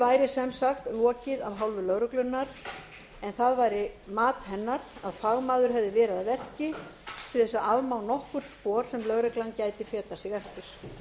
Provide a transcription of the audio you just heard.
væri sem sagt lokið af hálfu lögreglunnar en á væri mat hennar að fagmaður hefði verið að verki til að afmá nokkur spor sem lögreglan gæti fetað sig eftir